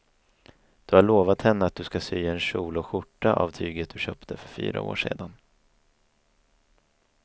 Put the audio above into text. Du har lovat henne att du ska sy en kjol och skjorta av tyget du köpte för fyra år sedan.